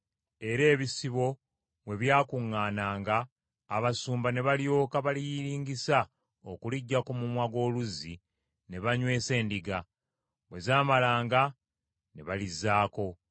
era ebisibo bwe byakuŋŋaananga, abasumba ne balyoka baliyiringisa okuliggya ku mumwa gw’oluzzi ne banywesa endiga; bwe zaamalanga ne balizzaako.